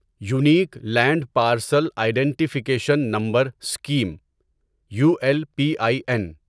unique land parcel identification number scheme U L P I N